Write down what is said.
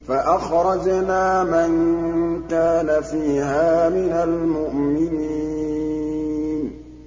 فَأَخْرَجْنَا مَن كَانَ فِيهَا مِنَ الْمُؤْمِنِينَ